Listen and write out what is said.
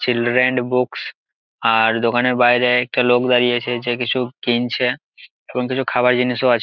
Children books আর দোকানের বাইরে একটা লোক দাঁড়িয়ে আছে যে কিছু কিনছে এবং কিছু খাবার জিনিসও আছে।